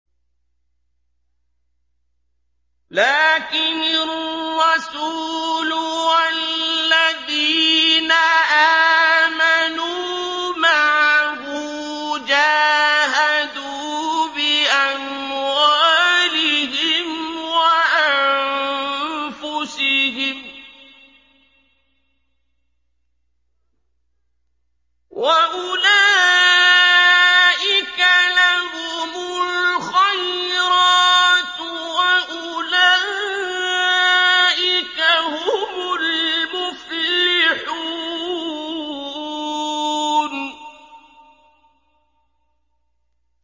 لَٰكِنِ الرَّسُولُ وَالَّذِينَ آمَنُوا مَعَهُ جَاهَدُوا بِأَمْوَالِهِمْ وَأَنفُسِهِمْ ۚ وَأُولَٰئِكَ لَهُمُ الْخَيْرَاتُ ۖ وَأُولَٰئِكَ هُمُ الْمُفْلِحُونَ